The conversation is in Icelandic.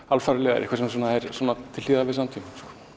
alfaraleiðar eitthvað sem er til hliðar við samtímann